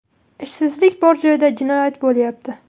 Ishsizlik bor joyda jinoyat bo‘lyapti!